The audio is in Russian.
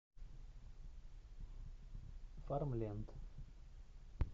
фармленд